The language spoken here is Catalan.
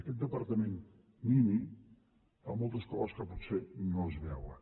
aquest departament nini fa moltes coses que potser no es veuen